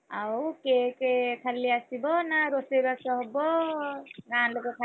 ଆଉ cake ଖାଲି ଆସିବା ନା, ରୋଷେଇବାସ ହବ ଗାଁ ଲୋକ ଖାଇବେ?